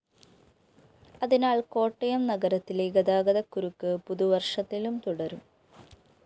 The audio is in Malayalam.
അതിനാല്‍ കോട്ടയം നഗരത്തിലെ ഗതാഗതകുരുക്ക് പുതുവര്‍ഷത്തിലും തുടരും